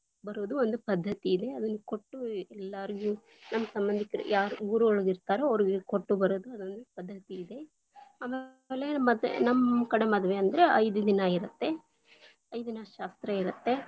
ಬರುವುದು ಒಂದು ಪದ್ಧತಿ ಇದೆ, ಅವ್ರಿಗೆ ಕೊಟ್ಟು ಎಲ್ಲಾಗು೯ ನಮ್ಮ ಸಂಬಂಧಿಕರು ಯಾರು ಊರೊಳಗಿರ್ತಾರೋ ಅವರಿಗೆ ಕೊಟ್ಟು ಬರುವುದು ಅದೊಂದು ಪದ್ಧತಿ ಇದೆ, ಆಮೇಲೆ ಮತ್ತೆ ನಮ್ಮ ಕಡೆ ಮದ್ವೆ ಅಂದ್ರೆ ಐದು ದಿನ ಇರುತ್ತೆ, ಐದಿನ ಶಾಸ್ತ್ರ ಇರುತ್ತೆ.